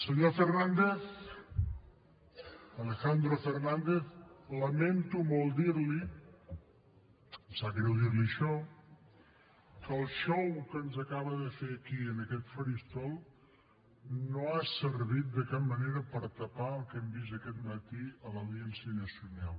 senyor fernández alejandro fernández lamento molt dir li em sap greu dir li això que el xou que ens acaba de fer aquí en aquest faristol no ha servit de cap manera per tapar el que hem vist aquest matí a l’audiència nacional